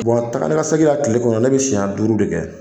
Wa taganikasegin na tile kɔnɔ ne bɛ siɲɛ duuru de kɛ